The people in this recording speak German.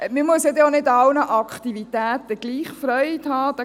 Man muss auch nicht an allen Aktivitäten gleichviel Freude haben.